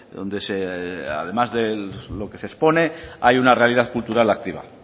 donde además de lo que se expone hay una realidad cultural activa